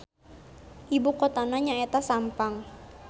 Ibukotana nyaeta Sampang.